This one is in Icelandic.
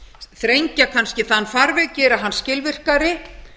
þrengja kannski þann farveg gera hann skilvirkari